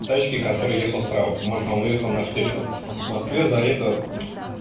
тачке которая ехал с права потому что он выехал на встречку в москве за это